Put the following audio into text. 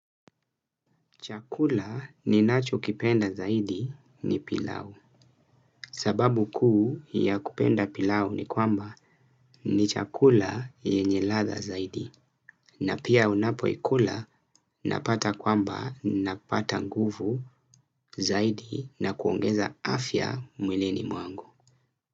Chakula ninachokipenda zaidi ni pilau. Sababu kuu ya kupenda pilau ni kwamba ni chakula yenye ladha zaidi. Na pia unapoikula napata nguvu zaidi na kuongeza afya mwilini mwangu.